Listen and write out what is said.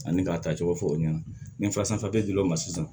Ani k'a tacogo fɔ o ɲɛna nin filasɛ dil'o ma sisan